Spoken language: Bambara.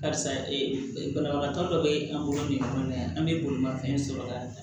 Karisa e banabagatɔ dɔ bɛ an bolo bin ɲɔgɔn na yan an bɛ bolimafɛn sɔrɔ la